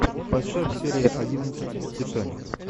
поставь серия одиннадцать титаник